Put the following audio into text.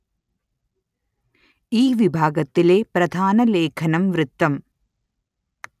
ഈ വിഭാഗത്തിലെ പ്രധാന ലേഖനം വൃത്തം